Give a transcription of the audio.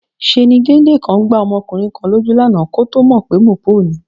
Ṣeni géńdé kán gbá ọkùnrin kan lójú lánàá kó tó mọ̀ pé Mòpóò ni